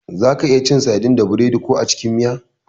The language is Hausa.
Zaka iya cin sadin da biredi ko a cikin miya.